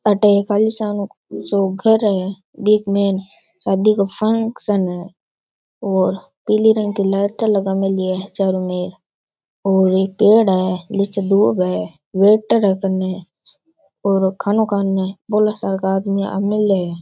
अठ एक आलीशान सा घर है और पिले रंग का लाइट लगा मेली है चारोंमेर और एक पेड़ है नीच दूब है वेटर है कैन और खानो --